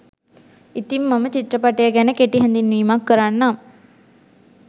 ඉතිං මම චිත්‍රපටය ගැන කෙටි හැඳින්වීමක් කරන්නම්